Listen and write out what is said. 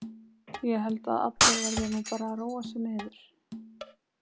Ég held að allir verði nú bara að róa sig niður.